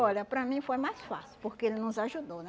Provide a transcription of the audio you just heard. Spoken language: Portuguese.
Olha, para mim foi mais fácil, porque ele nos ajudou, né?